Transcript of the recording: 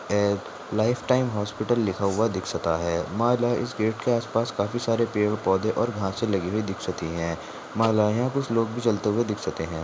ये life time hospital लिखा हुआ दिखसता है माला इस पेड़ के आसपास काफी सारे पेड़ पौधे और घासे लगी हुई दिखसती है माला या कुछ लोग भी चलता हुआ दिखसते है।